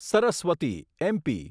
Saraswati MP